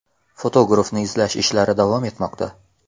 Fotografni izlash ishlari davom etmoqda.